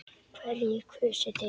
Hverjir kusu þig?